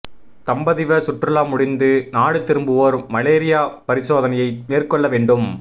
தம்பதிவ சுற்றுலா முடிந்து நாடு திரும்புவோர் மலேரியா பரிசோதனையை மேற்கொள்ள வேண்டும்